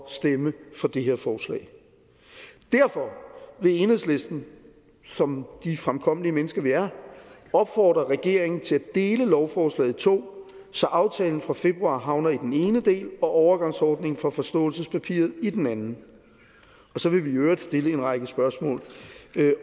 at stemme for det her forslag derfor vil enhedslisten som de fremkommelige mennesker vi er opfordre regeringen til at dele lovforslaget i to så aftalen fra februar havner i den ene del og overgangsordningen fra forståelsespapiret i den anden og så vil vi i øvrigt stille en række spørgsmål